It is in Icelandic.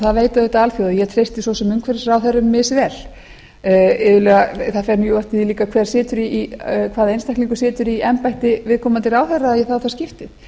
veit auðvitað alþjóð að ég treysti svo sem umhverfisráðherrunum misvel það fer mjög eftir því líka hvaða einstaklingur situr í embætti viðkomandi ráðherra í það og það skiptið